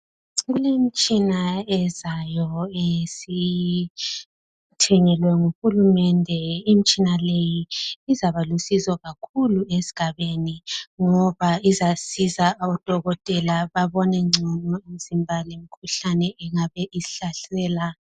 Kulemitshina ezayo esiyithengelwe nguhulumende , imtshina leyi izaba lusizo kakhulu esgabeni ngoba izasiza odokotela babone ngcono imizimba lemikhuhlane engabe ishlasela